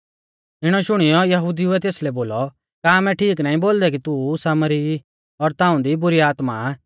इणौ शुणियौ यहुदिउऐ तेसलै बोलौ का आमै ठीक नाईं बोलदै कि तू सामरी ई और ताऊं दी बुरी आत्मा आ